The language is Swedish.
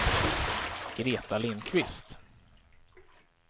Greta Lindkvist